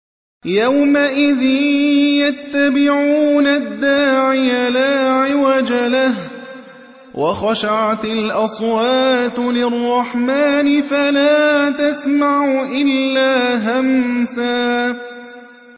يَوْمَئِذٍ يَتَّبِعُونَ الدَّاعِيَ لَا عِوَجَ لَهُ ۖ وَخَشَعَتِ الْأَصْوَاتُ لِلرَّحْمَٰنِ فَلَا تَسْمَعُ إِلَّا هَمْسًا